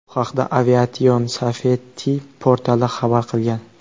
Bu haqda Aviation Safety portali xabar qilgan .